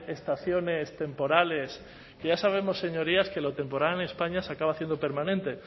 estaciones temporales que ya sabemos señorías que lo temporal en españa se acaba haciendo permanente